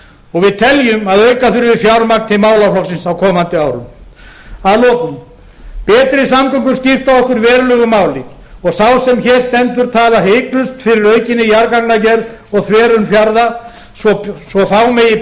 og við teljum að auka þurfi fjármagn til málaflokksins á komandi árum að lokum betri samgöngur skipta okkur verulegu máli og sá sem hér stendur talar hiklaust fyrir aukinni jarðgangagerð og þverun fjarða svo fá megi